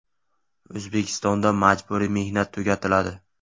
O‘zbekistonda majburiy mehnat tugatiladi.